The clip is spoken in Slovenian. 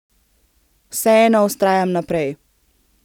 Vseeno vztrajam naprej.